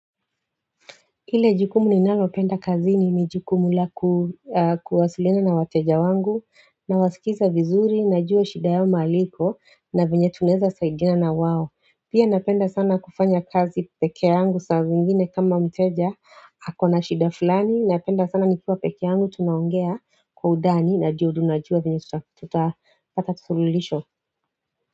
Kile jukumu ninalo penda kazini ni jukumu la kuwasilina na wateja wangu na wasikiza vizuri na jua shida yao mahali iko na venye tunaweza saidiana na wao Pia napenda sana kufanya kazi pekee yangu saa zingine kama mteja ako na shida fulani napenda sana nikiwa pekee yangu tunaongea kwa undani na juu ndo tunajua venye tutapata suluhisho.